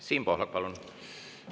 Siim Pohlak, palun!